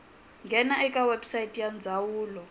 nghena eka website ya ndzawulo